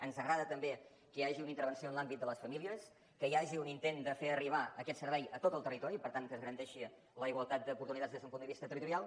ens agrada també que hi hagi una intervenció en l’àmbit de les famílies que hi hagi un intent de fer arribar aquest servei a tot el territori per tant que es garanteixi la igualtat d’oportunitats des d’un punt de vista territorial